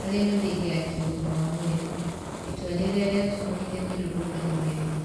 harĩ mĩthingi ya kĩugima wa mwĩrĩ , itua rĩrĩa rĩatũmũrire mĩrũrũngano mĩrũrũ